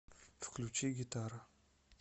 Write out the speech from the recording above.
включи гитара